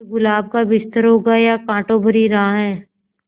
ये गुलाब का बिस्तर होगा या कांटों भरी राह